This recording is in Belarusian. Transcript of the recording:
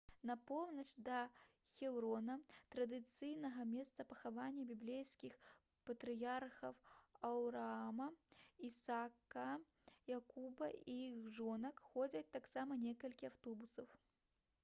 на поўнач да хеўрона традыцыйнага месца пахавання біблейскіх патрыярхаў аўраама ісака якуба і іх жонак ходзяць таксама некалькі аўтобусаў